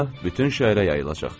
Hə, bütün şəhərə yayılacaq.